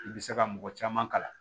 I bɛ se ka mɔgɔ caman kalan